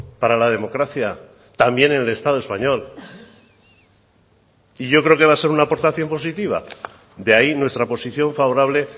para la democracia también en el estado español y yo creo que va a ser una aportación positiva de ahí nuestra posición favorable